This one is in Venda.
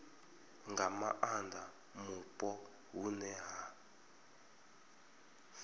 nga maanda mupo hune ha